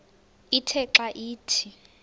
ithe xa ithi